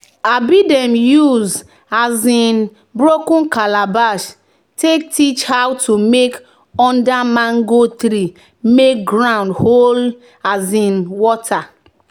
um "dem use um broken calabash take teach how to mulch under mango tree make ground hold um water."